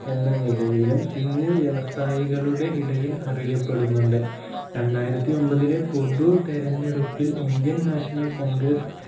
എന്ന നിലയിലും സിംഗ് വ്യവസായികളുടെ ഇടയിൽ അറിയപ്പെടുന്നുണ്ട് രണ്ടായിരത്തി ഒമ്പതിലെ പൊതു തിരെഞ്ഞെടുപ്പിൽ indian national congress